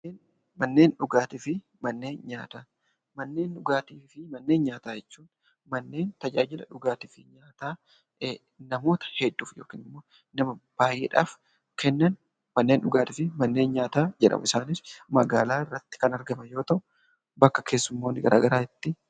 Manneen dhugaatii fi manneen nyaataa. Manneen dhugaatii fi manneen nyaataa jechuun manneen tajaajila dhugaatii fi nyaataa namoota hedduuf yookan immoo namoota baay'eedhaf kennan manneen dhugaatii fi manneen nyaataa jedhamu. Isaanis magaalaa irratti kan argaman yoo ta'u bakka keessummoonni garaa garaa itti